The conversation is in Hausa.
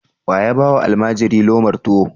Wa ya ba wa almajiri lomar tuwo?